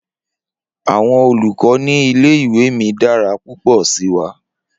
Awọn olukọ ni ile-iwe mi dara pupọ si wa.